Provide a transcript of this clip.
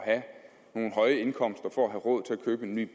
at have nogle høje indkomster for at have råd til at købe en ny